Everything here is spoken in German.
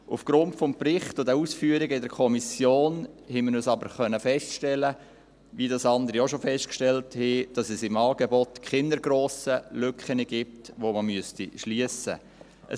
Aufgrund des Berichts und der Ausführungen in der Kommission haben wir aber, wie andere auch, feststellen können, dass es im Angebot keine grossen Lücken gibt, die man schliessen müsste.